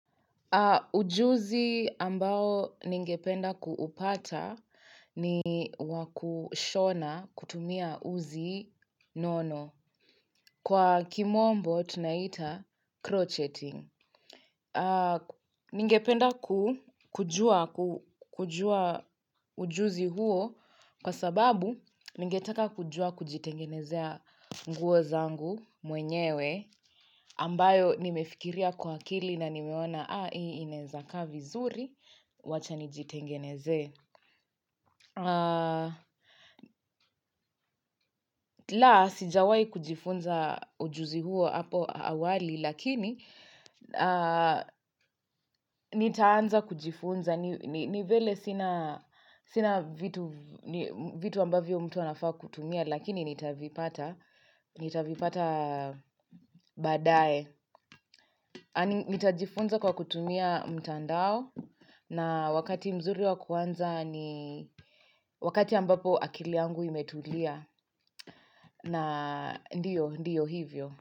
Ujuzi ambao ningependa kuupata ni wakushona kutumia uzi nono. Kwa kimombo, tunaita crocheting. Ningependa kujua ujuzi huo kwa sababu ningetaka kujua kujitengenezea nguo zangu mwenyewe ambayo nimefikiria kwa akili na nimeona haa hii inaeza kaa vizuri wacha nijitengeneze laa sijawai kujifunza ujuzi huo hapo awali lakini nitaanza kujifunza ni vele sina sina vitu vitu ambavyo mtu anafaa kutumia lakini nitavipata nitavipata badae nitajifunza kwa kutumia mtandao. Na wakati mzuri wa kuanza ni wakati ambapo akili yangu imetulia na ndiyo hivyo.